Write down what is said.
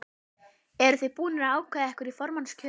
Eruð þið búnir að ákveða ykkur í formannskjörinu?